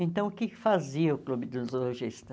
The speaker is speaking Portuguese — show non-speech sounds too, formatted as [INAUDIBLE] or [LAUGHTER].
Então, o que fazia o Clube dos? [UNINTELLIGIBLE]